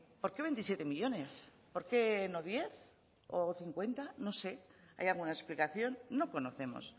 por qué veintisiete millónes por qué no diez o berrogeita hamar no sé hay alguna explicación no conocemos